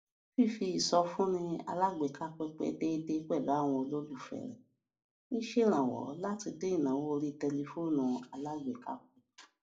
fífi ìsọfúnni alágbèéká pínpín déédéé pẹlú àwọn olólùfẹ rẹ ń ṣèrànwọ láti dín ìnáwó orí tẹlifóònù alágbèéká kù